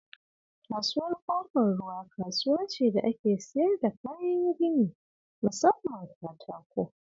Kasuwar Ƙofar Ruwa kasuwa ce da ake siyar da kayan gini musamman katako